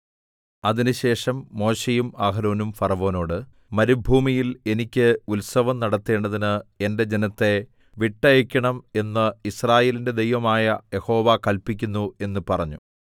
അതിന്‍റെശേഷം മോശെയും അഹരോനും ഫറവോനോട് മരുഭൂമിയിൽ എനിക്ക് ഉത്സവം നടത്തേണ്ടതിന് എന്റെ ജനത്തെ വിട്ടയയ്ക്കണം എന്ന് യിസ്രായേലിന്റെ ദൈവമായ യഹോവ കല്പിക്കുന്നു എന്ന് പറഞ്ഞു